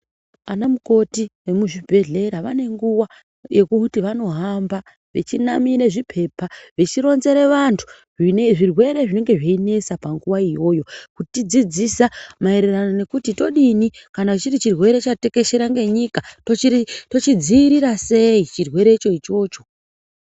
Anamukoti emuzvibhedhlera vanenguva yekuti vanohamba vechinamire zvipepa vechironzere vantu zvirwere zvinenge zveinetsa panguva iyoyo. Kutidzidzisa maererano nekuti todini, kana chiri chirwere chatekeshera ngenyika kuti tochidziirira sei chirwerecho ichocho.